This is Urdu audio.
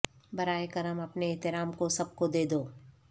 براہ کرم اپنے احترام کو سب کو دے دو